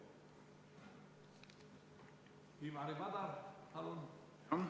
Ivari Padar, palun!